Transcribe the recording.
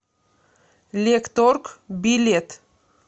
лекторг билет